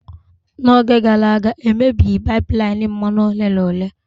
N'oge gara aga, e mebighi pipeline mmanụ ole na ole.